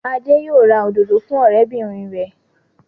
Adé yóò ra òdòdó fún ọ̀rẹ́bìnrin rẹ̀.